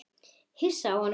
Hissa á honum.